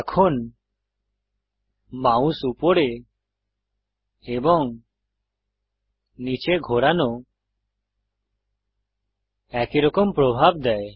এখন মাউস উপরে এবং নীচে ঘোরানো একইরকম প্রভাব দেয়